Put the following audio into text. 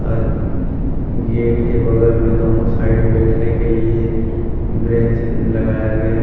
और गेट के बगल में दोनों साइड बैठने के लिए बेंच लगाया गया है।